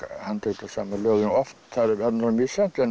handtök á sama ljóðinu það er misjafnt en